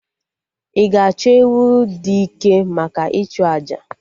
Ị ga-achọ ewu dị ike maka ịchụ àjà?